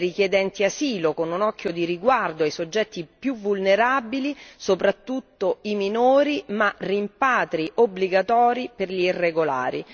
Sì ai richiedenti asilo, con un occhio di riguardo ai soggetti più vulnerabili soprattutto i minori, ma rimpatri obbligatori per gli irregolari.